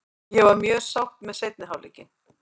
Ég var mjög sátt með seinni hálfleikinn.